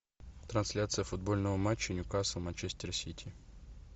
трансляция футбольного матча ньюкасл манчестер сити